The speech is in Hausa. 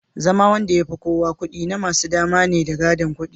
zama Wanda yafi kowa kudi namasu dama ne da gadon kudi